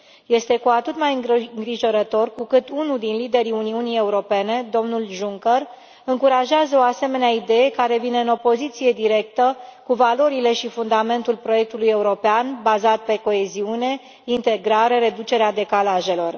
Este cu atât mai îngrijorător cu cât unul din liderii Uniunii Europene, domnul Juncker, încurajează o asemenea idee care vine în opoziție directă cu valorile și fundamentul proiectului european bazat pe coeziune, integrare, reducerea decalajelor.